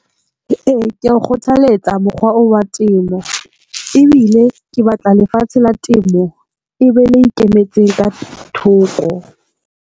E, ke a kgothalletsa mokgwa oo wa temo ebile ke batla lefatshe la temo e be le ikemetseng ka thoko.